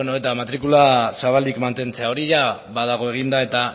bueno eta matrikula zabalik mantentzea hori jada badago eginda eta